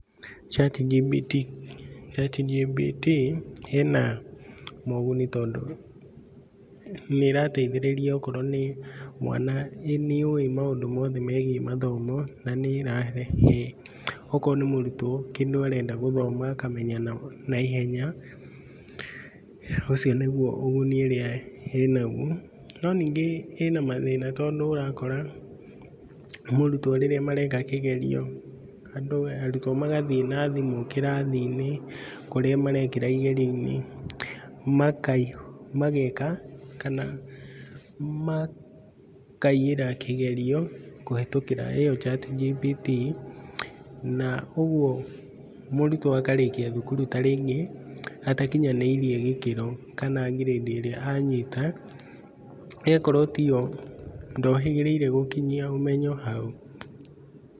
ChatGPT ChatGPT ĩna moguni tondũ nĩ ĩrateithĩrĩria okorwo nĩ mwana, nĩ yũĩ maũndũ mothe megiĩ mathomo na nĩ ĩrahe okorwo nĩ kĩndũ arenda gũthoma akamenya na ihenya. Ũcio nĩguo ũguni ũrĩa ĩĩ na guo. No ningĩ ĩĩ na mathĩna tondũ ũrakora mũrutwo rĩrĩa mareka kĩgerio, arutwo magathiĩ na thimũ kĩrathi-inĩ kũrĩa marekĩra igerio-inĩ. Mageka kana makaiyĩra kĩgerio kũhĩtũkĩra iyo ChatGPT. Na ũguo mũrutwo akarĩkia thukuru ta rĩngĩ atakinyanĩirie gĩkĩro kana ngirĩndi ĩrĩa anyita ĩgakorwo ti yo. Ndohĩgĩrĩire gũkinyia ũmenyo hau.